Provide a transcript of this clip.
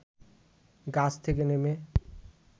গাছ থেকে নেমে